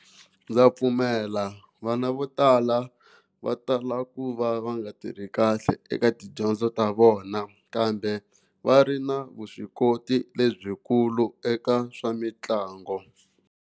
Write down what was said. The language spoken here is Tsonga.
Ndza pfumela vana vo tala va tala ku va va nga tirhi kahle eka tidyondzo ta vona kambe va ri na vuswikoti lebyikulu eka swa mitlangu.